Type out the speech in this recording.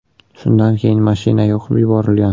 Shundan keyin mashina yoqib yuborilgan.